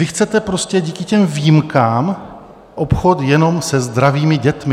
Vy chcete prostě díky těm výjimkám obchod jenom se zdravými dětmi.